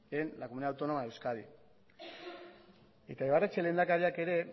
en la comunidad autónoma de euskadi eta ibarretxe lehendakariak ere